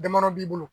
Damadɔ b'i bolo